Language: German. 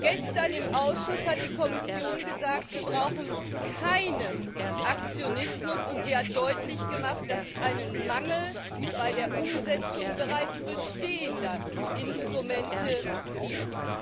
Gestern im Ausschuss hat die Kommission gesagt, wir brauchen keinen Aktionismus und sie hat deutlich gemacht, dass es einen Mangel bei der Umsetzung bereits bestehender Instrumente gibt.